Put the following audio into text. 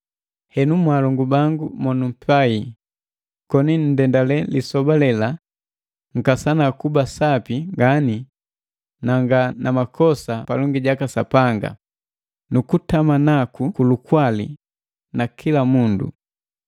Henu mwaalongu bangu mo numpai, koni nndendale lisoba lela, nkasana kuba sapi ngani na nga na makosa palongi jaka Sapanga na kutama naku ku lukwali na kila mundu.